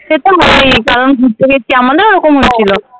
যখন ঘুরতে গেছি আমাদেরও ওরকম হয়েছিল।